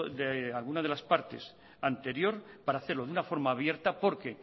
de alguna de las partes anterior para hacerlo de una forma abierta porque